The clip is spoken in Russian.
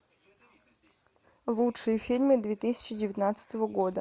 лучшие фильмы две тысячи девятнадцатого года